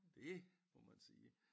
Det må man sige